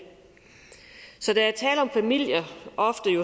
så der er tale om familier